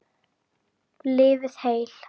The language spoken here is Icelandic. Lifið heil.